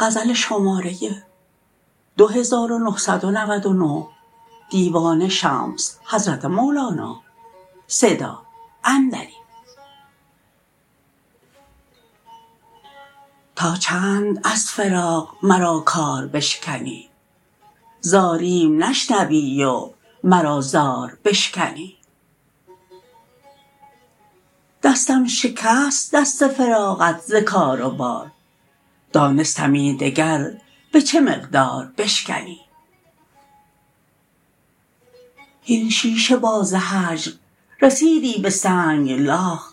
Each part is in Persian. تا چند از فراق مرا کار بشکنی زاریم نشنوی و مرا زار بشکنی دستم شکست دست فراقت ز کار و بار دانستمی دگر به چه مقدار بشکنی هین شیشه باز هجر رسیدی به سنگلاخ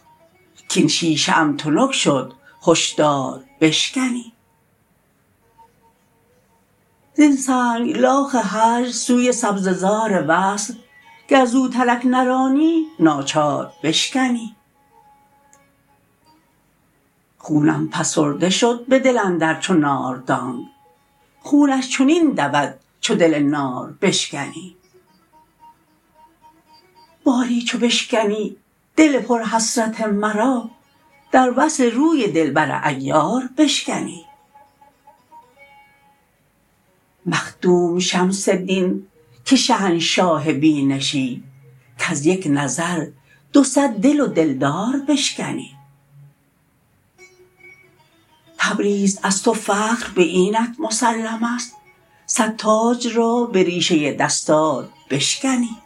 کاین شیشه ام تنک شد هشدار بشکنی زین سنگلاخ هجر سوی سبزه زار وصل گر زوترک نرانی ناچار بشکنی خونم فسرده شد به دل اندر چو ناردانگ خونش چنین دود چو دل نار بشکنی باری چو بشکنی دل پرحسرت مرا در وصل روی دلبر عیار بشکنی مخدوم شمس دین که شهنشاه بینشی کز یک نظر دو صد دل و دلدار بشکنی تبریز از تو فخر به اینت مسلم است صد تاج را به ریشه دستار بشکنی